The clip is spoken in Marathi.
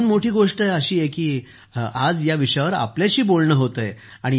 याहून मोठी गोष्ट ही आहे की आज या विषयावर आपल्याशी बोलणं होत आहे